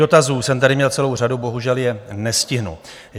Dotazů jsem tady měl celou řadu, bohužel je nestihnu.